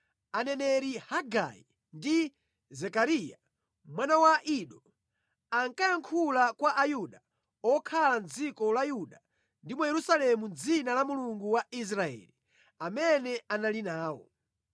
Nthawi imeneyo aneneri Hagai ndi Zekariya, mwana wa Ido, ankayankhula kwa Ayuda okhala mʼdziko la Yuda ndi mu Yerusalemu mʼdzina la Mulungu wa Israeli, amene anali nawo.